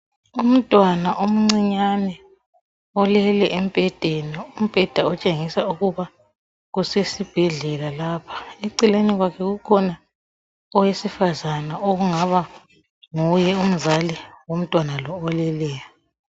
Umntwana omncinyane olele embhedeni, umbheda otshengisa ukuba kusesibhedlela lapha, eceleni kwakhe kukhona owesifazana okungaba nguye umzali womntwana lo oleleyo